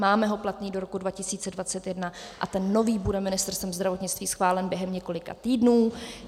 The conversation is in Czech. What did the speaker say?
Máme ho platný do roku 2021 a ten nový bude Ministerstvem zdravotnictví schválen během několika týdnů.